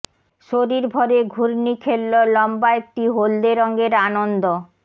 শরীর ভরে ঘূর্ণি খেললো লম্বা একটি হলদে রঙের আনন্দ